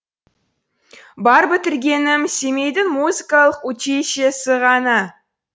бар бітіргенім семейдің музыкалық училищесі ғана